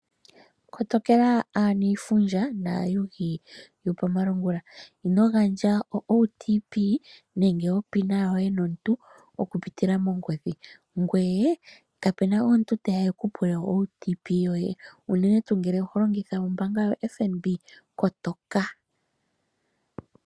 Kotokela aaniifundja naayugi yopamalungula. Ino gandja onomola yoye ndjoka hayi longithwa lumwe nenge onomola yoye yomeholamo komuntu okupitila mongodhi. Kapu na omuntu teya e ku pule onomola yoye ndjoka hayi longithwa lumwe, unene tuu ngele oho longitha ombaanga yoFNB, kotoka.